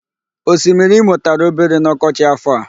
Osimiri Imo tara obere n'ọkọchị áfọ̀ a.